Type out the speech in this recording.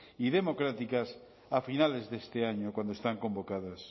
y democráticas a finales de este año cuando están convocadas